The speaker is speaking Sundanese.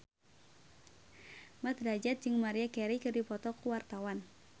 Mat Drajat jeung Maria Carey keur dipoto ku wartawan